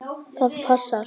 Jú, það passar.